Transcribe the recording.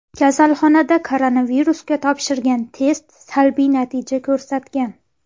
Kasalxonada koronavirusga topshirgan test salbiy natija ko‘rsatagan.